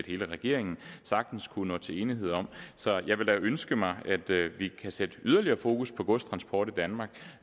hele regeringen sagtens kunne nå til enighed om så jeg vil da ønske mig at vi kan sætte yderligere fokus på godstransport i danmark